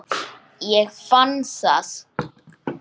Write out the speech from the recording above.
Ég fann það!